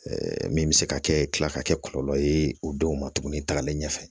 min bɛ se ka kɛ tila ka kɛ kɔlɔlɔ ye o denw ma tugunni tagalen ɲɛfɛ